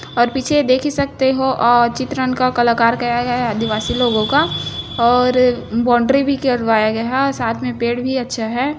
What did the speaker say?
और पीछे देखी सकते हो औ चित्रण का कलाकार करा गया है आदिवासी लोगो का और बोंडरी भी करवाया गया है और साथ मे पेड है।